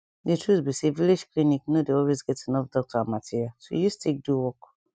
di truth be say village clinic nor dey always get enough doctor and material to use take do work